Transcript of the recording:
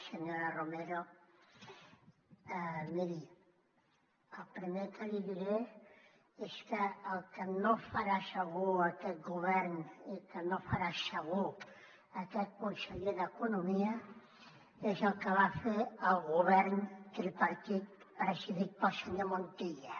senyora romero miri el primer que li diré és que el que no farà segur aquest govern i que no farà segur aquest conseller d’economia és el que va fer el govern tripartit presidit pel senyor montilla